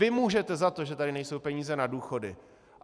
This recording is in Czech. Vy můžete za to, že tady nejsou peníze na důchody.